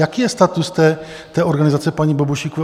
Jaký je status té organizace paní Bobošíkové?